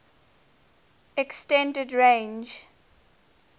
s extended range